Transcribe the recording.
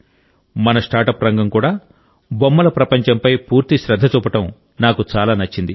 మన స్టార్టప్ రంగం కూడా బొమ్మల ప్రపంచంపై పూర్తి శ్రద్ధ చూపడం నాకు చాలా నచ్చింది